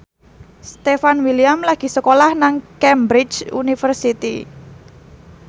Stefan William lagi sekolah nang Cambridge University